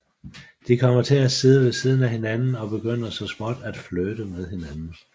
De kommer til at sidde ved siden af hinanden og begynder så småt at flirte med hinanden